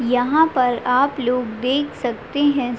यहाँ पर आपलोग देख सकते हैं।